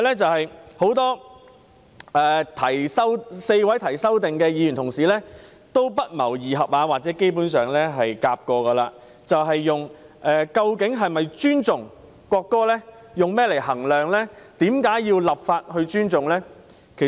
此外 ，4 位提出修正案的議員不謀而合或合謀問及，如何衡量一個人是否尊重國歌，以及為何要立法尊重國歌。